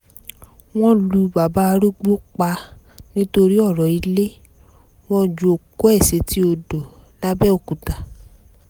wọ́n lu bàbá arúgbó pa nítorí ọ̀rọ̀ ilé wọn ju òkú ẹ̀ sétí odò làbẹ́òkúta